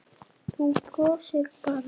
Þú brosir bara!